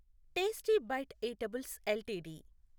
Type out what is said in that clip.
tasty bite eatables LTD